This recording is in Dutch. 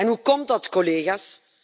Hoe komt dat collega's?